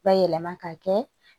Bayɛlɛma ka kɛ